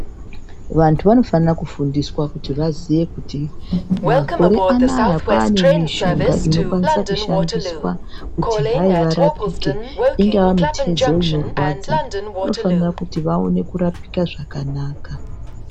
Vantu vanofana kufundiswa kuti vaziwe kuti makore anaya kwaane mishonga inokwanise kishandiswa kuti hayi varapike , ingava mitezo inorwadza vanofanira kuti vaoneke kurapika zvakanaka .